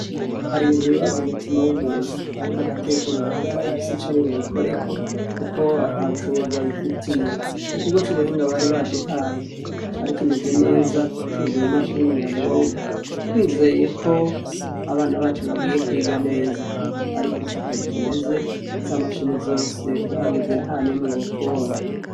hari ibibazo mu mutima w'umuntu ariko agatekereza yuko adafise ico yobikorako kuko atabushobozi abifitiye. Ikigo c'ubuhinga bari baduhaye cari kimeze neza cuzuye i mashine nyabwonko, twizeyeko abana bacu bagiye kwiga neza, ariko siko bikimeze, za mashine zose uhageze ntanimwe wopfa ubonye.